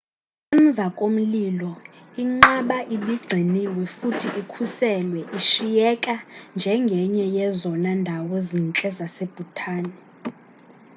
emvakomlilo inqaba ibigciniwe futhi ikhuselwe ishiyeka njengenye yezona ndawo zintle zase-bhutan